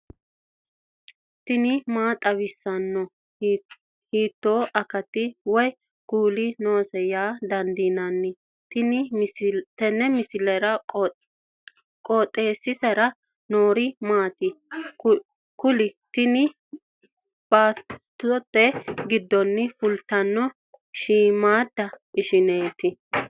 tini maa xawissanno ? hiitto akati woy kuuli noose yaa dandiinanni tenne misilera? qooxeessisera noori maati? kuni tini baattote giddonni fultannoti shiimmaadda ishshinnaati